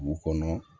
Dugu kɔnɔ